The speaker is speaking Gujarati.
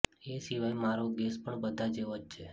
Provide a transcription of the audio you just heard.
એ સિવાય મારો ગેસ પણ બધા જેવો જ છે